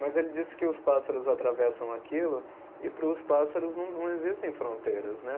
Mas ele disse que os pássaros atravessam aquilo e para os pássaros não não existem fronteiras, né?